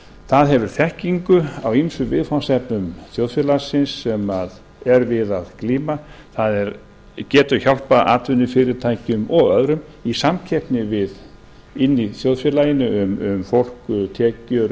það hefur þekkingu á ýmsum viðfangsefnum þjóðfélagsins sem er við að glíma það getur hjálpað atvinnufyrirtækjum og öðrum í samkeppni inni í þjóðfélaginu við fólk tekjur